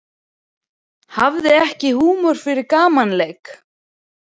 Hafði ekki húmor fyrir gamanleik